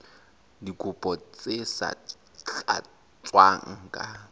dikopo tse sa tlatswang ka